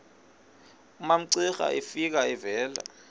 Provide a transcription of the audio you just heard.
umamcira efika evela